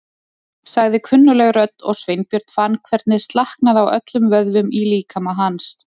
sagði kunnugleg rödd og Sveinbjörn fann hvernig slaknaði á öllum vöðvum í líkama hans.